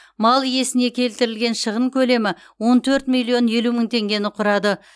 мал иесіне келтірілген шығын көлемі он төрт миллион елу мың теңгені құрады